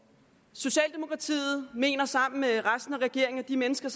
socialdemokratiet mener sammen med resten af regeringen og de mennesker